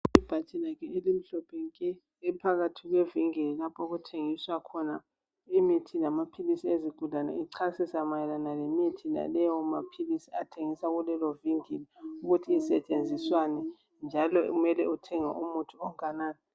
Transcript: Ibhatshi lakhe elimhlophe nke ephakathi kwevinkili lapho okuthengiswa khona imithi lamaphilisi ezigulane echasisa mayelana lemithi naleyo maphilisi athengiswa kulelovinkili ukuthi isetshenziswani njalo kumele uthenge umuthi onganani.